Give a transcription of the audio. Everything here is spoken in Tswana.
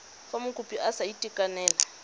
fa mokopi a sa itekanela